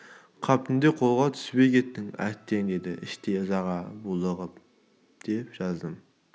қап түнде қолға түспей кеттің әттең деді іштей ызаға булығып деп жаздым